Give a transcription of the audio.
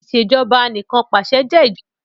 Ìṣèjọba Anìkanpàṣẹ jé ìjọba tó eniyan kan pẹlu àgbàrá pípé.